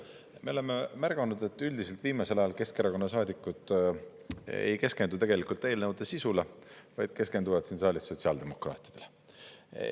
Me oleme märganud, et üldiselt viimasel ajal Keskerakonna saadikud ei keskendu eelnõude sisule, vaid keskenduvad siin saalis sotsiaaldemokraatidele.